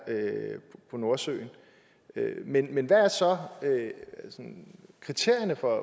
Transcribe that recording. på nordsøen men men hvad er så sådan kriterierne for